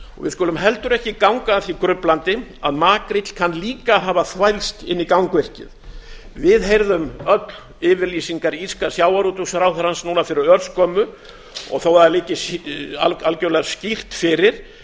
við skulum heldur ekki ganga að því gruflandi að makríll kann líka að hafa þvælst inn í gangvirkið við heyrðum öll yfirlýsingar írska sjávarútvegsráðherrans núna fyrir örskömmu og þó það liggi algjörlega skýrt fyrir